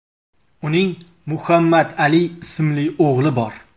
Uning Muhammad Ali ismli o‘g‘li bor.